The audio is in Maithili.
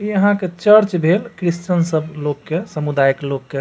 यहाँ के चर्च भेल क्रिस्चियन सब लोग के समुदायक लोग के।